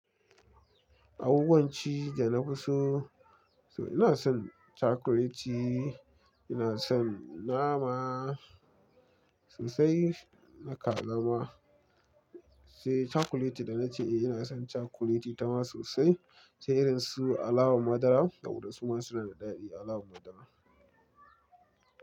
Abubuwan ci da na fi so, so ina son cakuleti, ina son nama, so sai na kaza ma. Sai cakuleti da na ce ina son cakuleti ita ma sosai. Sai irin su alawa madara da waɗansu ma suna da daɗi alawa madara.